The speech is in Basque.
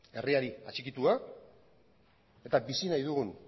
herriari atxikitua eta bizi nahi dugun